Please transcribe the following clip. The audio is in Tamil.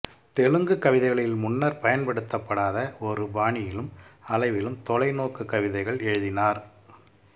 தெலுங்குக் கவிதைகளில் முன்னர் பயன்படுத்தப்படாத ஒரு பாணியிலும் அளவிலும் தொலைநோக்கு கவிதைகளை எழுதினார்